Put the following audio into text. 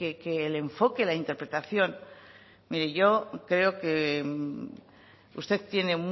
que el enfoque la interpretación mire yo creo que usted tiene